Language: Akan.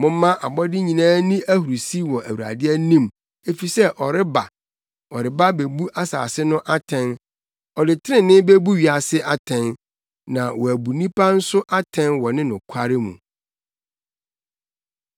Momma abɔde nyinaa nni ahurusi wɔ Awurade anim, efisɛ ɔreba, ɔreba abebu asase no atɛn. Ɔde trenee bebu wiase atɛn na woabu nnipa nso atɛn wɔ ne nokware mu.